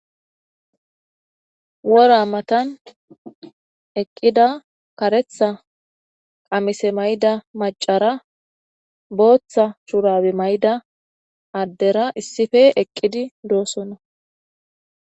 Wora matan eqqida karetha qamise mayda macara booththa shurabe mayda addera issife eqqidi doossona.